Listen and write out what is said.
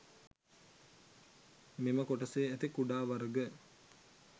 මෙම කොටසේ ඇති කුඩා වර්ග